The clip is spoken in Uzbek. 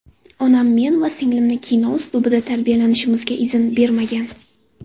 Onam men va singlimni kino uslubida tarbiyalanishimizga izn bermagan.